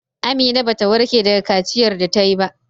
Amina bata warke daga kaciyar da tayi ba.